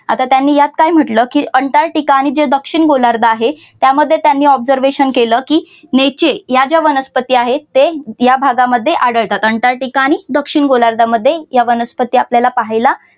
आता त्यानी यात काय म्हटलं की अंटार्टिका आणि जे दक्षिण गोलार्धात आहे त्यामध्ये त्यांनी observation केलं की नेचे या ज्या वनस्पती आहेत ते या भागामध्ये आढळतात. अंटार्क्टिका आणि दक्षिण गोलार्धामध्ये या वनस्पती आपल्याला पाहायला